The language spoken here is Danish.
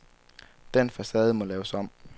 Den facade må laves om.